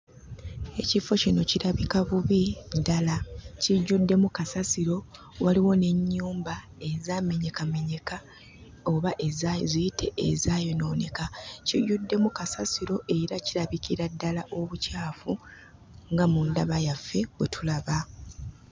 Ekifo kino kirabika bubi ddala. Kijjuddemu kasasiro, waliwo n'ennyumba ezaamenyekamenyeka oba ziyite ezaayonooneka. Kijjuddemu kasasiro era kirabikira ddala obucaafu nga mu ndaba yaffe bwe tulaba.